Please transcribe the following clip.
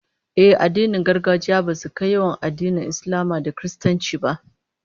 Ehh, addinin gargajiya basu kai yawan addinan Islama da Kiristanci ba